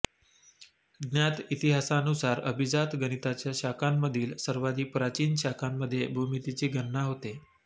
ज्ञात इतिहासानुसार अभिजात गणिताच्या शाखांमधील सर्वाधिक प्राचीन शाखांमध्ये भूमितीची गणना होते